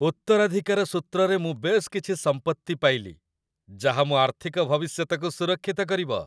ଉତ୍ତରାଧିକାର ସୂତ୍ରରେ ମୁଁ ବେଶ୍ କିଛି ସମ୍ପତ୍ତି ପାଇଲି ଯାହା ମୋ ଆର୍ଥିକ ଭବିଷ୍ୟତକୁ ସୁରକ୍ଷିତ କରିବ।